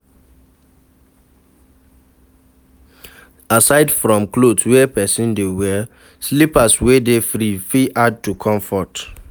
Aside from cloth wey person dey wear, slippers wey dey free fit add to comfort